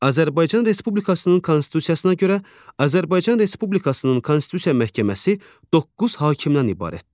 Azərbaycan Respublikasının Konstitusiyasına görə, Azərbaycan Respublikasının Konstitusiya məhkəməsi doqquz hakimdən ibarətdir.